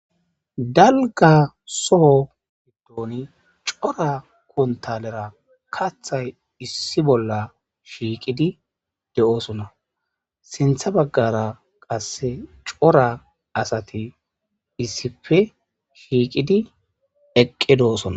Dalga soho hiddooni cora kuntalera kathay issi bolla shiiqidi de7oosona sintha baggara qasse cora asati issife shiiqidi eqqedo7osona.